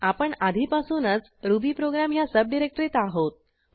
आपण आधीपासूनच रुबीप्रोग्राम ह्या सबडिरेक्टरीत आहोत